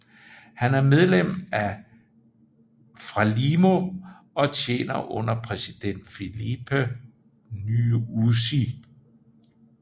Han er medlem af FRELIMO og tjener under præsident Filipe Nyusi